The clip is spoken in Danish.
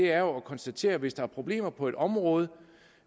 er jo at konstatere at hvis der er problemer på et område